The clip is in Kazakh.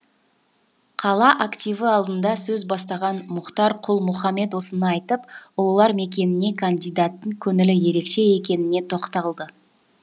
қала активі алдында сөз бастаған мұхтар құл мұхаммед осыны айтып ұлылар мекеніне кандидаттың көңілі ерекше екеніне тоқталды